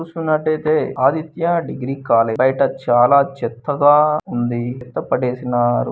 చూస్తున్నట్టయితే Aditya degree college . బయట చాలా చెత్త గా ఉంది. చెత్త పడేసినారు.